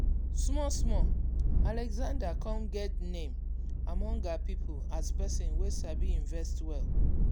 small small alexandra come get name among her people as person wey sabi invest well.